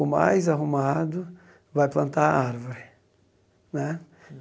O mais arrumado vai plantar a árvore né.